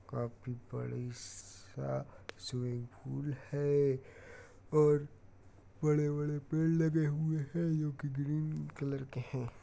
काफी बड़ी-सा स्विंमिंगपूल है| और बड़े-बड़े पेड़ लगे हुए हैं जो कि ग्रीन कलर के है।